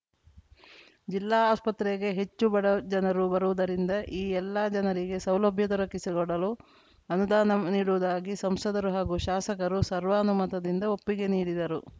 ಜಿಲ್ಲಾ ಆಸ್ಪತ್ರೆಗೆ ಹೆಚ್ಚು ಬಡಜನರು ಬರುವುದರಿಂದ ಈ ಎಲ್ಲ ಜನರಿಗೆ ಸೌಲಭ್ಯ ದೊರಕಿಸಿಕೊಡಲು ಅನುದಾನ ನೀಡುವುದಾಗಿ ಸಂಸದರು ಹಾಗೂ ಶಾಸಕರು ಸರ್ವಾನುಮತದಿಂದ ಒಪ್ಪಿಗೆ ನೀಡಿದರು